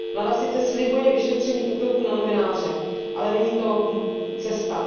Vláda sice slibuje vyšetření útoku na novináře, ale není to cesta.